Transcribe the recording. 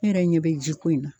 Ne yɛrɛ ɲɛ bɛ ji ko in na.